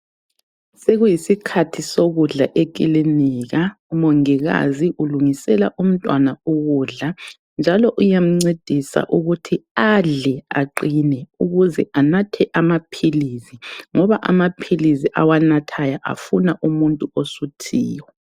Sekuyisikhathi sokudla ekilinika ,umongikazi ulungisela umntwana ukudla .Njalo uyamncedisa ukuthi adle aqine ukuze anathe amaphilizi .Ngoba amaphilizi awanathayo afuna umuntu osuthiyo.